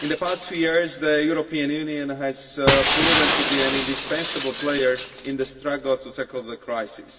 In the past few years, the European Union has proven to be an indispensible player in the struggle to tackle the crisis.